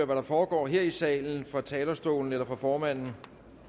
der foregår her i salen fra talerstolen eller fra formanden